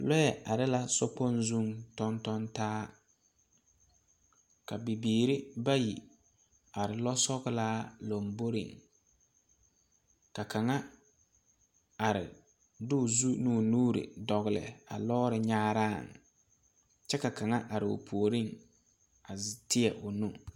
Lɔɛ are la sokpoŋ zuŋ tɔŋ tɔŋ taa ka bibiiri ba yi are lɔsɔglaa lomboreŋ ka kaŋa are de o zu ne o nuure dɔgle a lɔɔre nyaaraŋ kyɛ ka kaŋa are o puoriŋ a teɛ o nu.